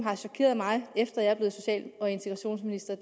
har chokeret mig efter at jeg er blevet social og integrationsminister